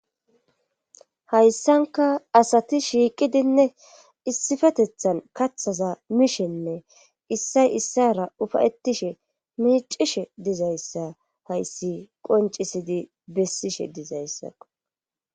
Hayssanka asati shiiqidinne issifatethan kathaza mishenne issay issara ufayettishe miicishe dizayssa hayssi qoncisidi bessishe dizayssaqo.